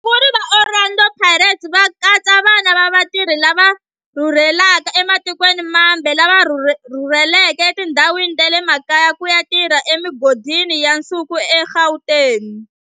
Vasunguri va Orlando Pirates va katsa vana va vatirhi lava rhurhelaka ematikweni mambe lava rhurheleke etindhawini ta le makaya ku ya tirha emigodini ya nsuku eGauteng.